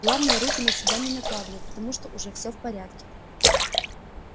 главное руки на себя не накладывай потому что уже всё в порядке